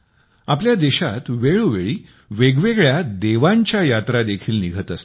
आपल्या देशात वेळोवेळी वेगवेगळ्या देवांच्या यात्रा देखील निघत असतात